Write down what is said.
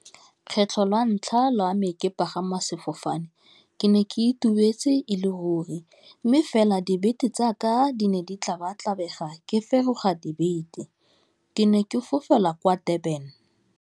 Kgetlho lwa ntlha lwa me ke pagama sefofane, ke ne ke itumetse e le ruri mme fela dibete tsaka di ne di tlabatlabega ke feroga dibete, ke ne ke fofela kwa Durban.